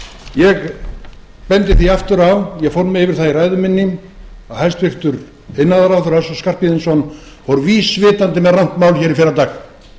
ég bendi því aftur á ég fór yfir það í ræðu minni að hæstvirtur iðnaðarráðherra össur skarphéðinsson fór vísvitandi með rangt mál í fyrradag